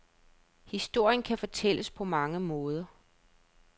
Historien kan fortælles på mange måder.